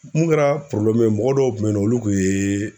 Mun kɛra mɔgɔ dɔw kun be yen nɔ olu kun yee